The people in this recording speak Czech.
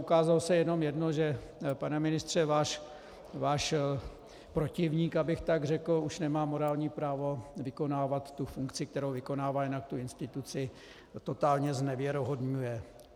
Ukázalo se jenom jedno, že, pane ministře, váš protivník, abych tak řekl, už nemá morální právo vykonávat tu funkci, kterou vykonává, jinak tu instituci totálně znevěrohodňuje.